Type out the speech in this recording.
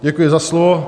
Děkuji za slovo.